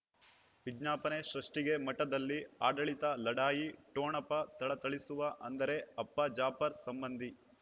ವಿಜ್ಞಾಪನೆ ಸೃಷ್ಟಿಗೆ ಮಠದಲ್ಲಿ ಆಡಳಿತ ಲಢಾಯಿ ಠೊಣಪ ಥಳಥಳಿಸುವ ಅಂದರೆ ಅಪ್ಪ ಜಾಫರ್ ಸಂಬಂಧಿ